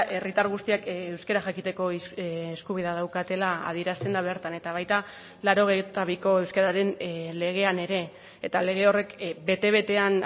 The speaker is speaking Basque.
herritar guztiak euskara jakiteko eskubidea daukatela adierazten da bertan eta baita laurogeita biko euskararen legean ere eta lege horrek bete betean